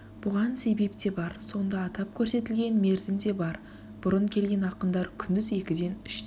бұған себеп те бар сонда атап көрсетілген мерзім де бар бұрын келген ақындар күндіз екіден үштен